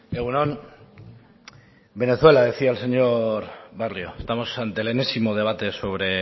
egun on venezuela decía el señor barrio estamos ante el enésimo debate sobre